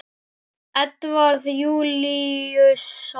Edvarð Júlíus Sólnes.